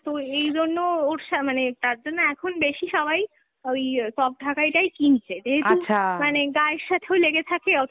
তো এই জন্য, ওর সা, মানে তারজন্য এখন বেশি সবাই ওই soft ঢাকাই টাই কিনছে ,যেহেতু মানে গায়ের সাথেও লেগে থাকে অথচ